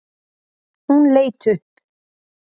Hún leit upp.